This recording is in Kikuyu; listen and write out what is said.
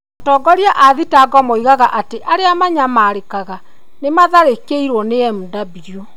Atongoria a thitango moigaga atĩ arĩa manyamarĩkaga nĩ maatharĩkĩirũo nĩ Mw.